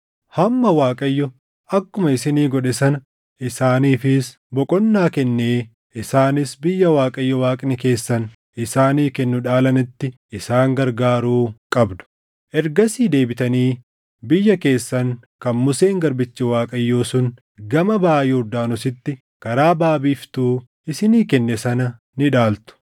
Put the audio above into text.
hamma Waaqayyo akkuma isinii godhe sana isaaniifis boqonnaa kennee isaanis biyya Waaqayyo Waaqni keessan isaanii kennu dhaalanitti isaan gargaaruu qabdu. Ergasii deebitanii biyya keessan kan Museen garbichi Waaqayyo sun gama baʼa Yordaanositti karaa baʼa biiftuu isinii kenne sana ni dhaaltu.”